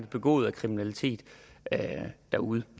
begået af kriminalitet derud